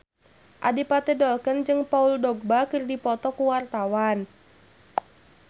Adipati Dolken jeung Paul Dogba keur dipoto ku wartawan